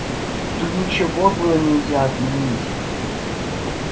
тут ничего было нельзя отменить